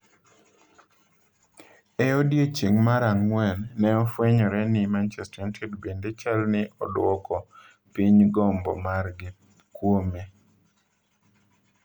E odiechieng' mar Ang'wen, ne ofwenyore ni Manchester United bende chal ni odwoko piny gombo margi kuome.